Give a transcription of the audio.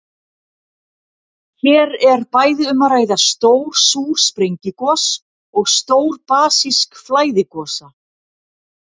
Hér er bæði um að ræða stór súr sprengigos og stór basísk flæðigosa.